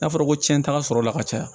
N'a fɔra ko cɛnta sɔrɔla ka caya